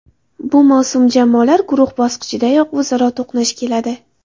Bu mavsum jamoalar guruh bosqichidayoq o‘zaro to‘qnash keladi.